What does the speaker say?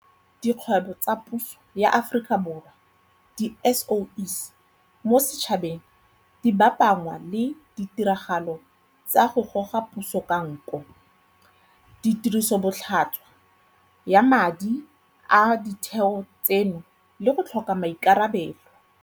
Dikgwe bo tsa Puso ya Aforika Borwa, di-SOE, mo setšhabeng di bapanngwa le ditiragalo tsa go goga puso ka nko, tirisobotlhaswa ya madi a ditheo tseno le go tlhoka maikarabelo.